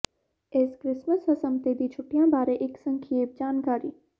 ਇਸ ਕ੍ਰਿਸਮਸ ਹਸਮਤੇ ਦੀ ਛੁੱਟੀਆਂ ਬਾਰੇ ਇੱਕ ਸੰਖੇਪ ਜਾਣਕਾਰੀ